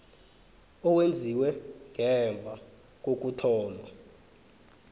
owenziwe ngemva kokuthoma